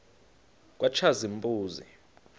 katshazimpuzi